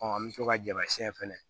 an bɛ to ka jama siɲɛn fɛnɛ